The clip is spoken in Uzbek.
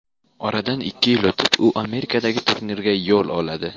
Oradan ikki yil o‘tib u Amerikadagi turnirga yo‘l oladi.